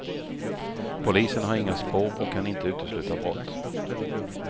Polisen har inga spår och kan inte utesluta brott.